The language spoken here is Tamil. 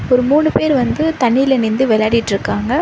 ஒரு மூணு பேர் வந்து தண்ணீல நின்டு வெளாடிட்ருக்காங்க.